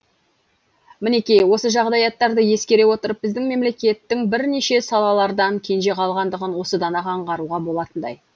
мінекей осы жағдаяттарды ескере отырып біздің мемлекеттің бірнеше салалардан кенже қалғандығын осыдан ақ аңғаруға болатындай